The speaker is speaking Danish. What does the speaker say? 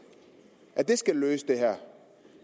skal løse det her